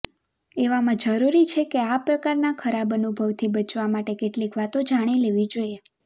એવામાં જરૂરી છે કે આ પ્રકારના ખરાબ અનુભવથી બચવા માટે કેટલીક વાતો જાણી લેવી જોઇએ